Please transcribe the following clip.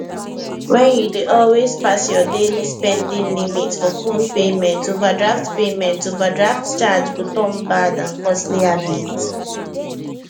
when you dey always pass your daily spending limit for phone payment overdraft payment overdraft charge go turn bad and costly habit